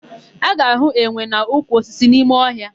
A ga-ahụ enwe n'ukwu osisi n'ime ọhịa.